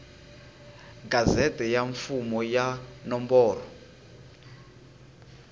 gazette ya mfumo ya nomboro